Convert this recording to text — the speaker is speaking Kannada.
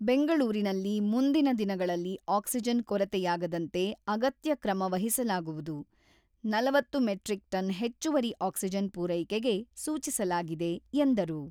ಬೆಂಗಳೂರಿನಲ್ಲಿ ಮುಂದಿನ ದಿನಗಳಲ್ಲಿ ಆಕ್ಸಿಜನ್ ಕೊರತೆಯಾಗದಂತೆ ಅಗತ್ಯ ಕ್ರಮ ವಹಿಸಲಾಗುವುದು, ನಲವತ್ತು ಮೆಟ್ರಿಕ್ ಟನ್ ಹೆಚ್ಚುವರಿ ಆಕ್ಸಿಜನ್ ಪೂರೈಕೆಗೆ ಸೂಚಿಸಲಾಗಿದೆ ಎಂದರು.